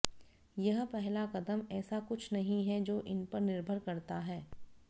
यह पहला कदम ऐसा कुछ नहीं है जो इन पर निर्भर करता है